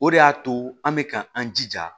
O de y'a to an bɛ ka an jija